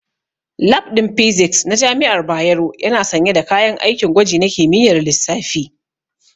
Lab ɗin Physics na jami'ar Bayero yana sanye da kayan aikin gwaji na kimiyyar lissafi.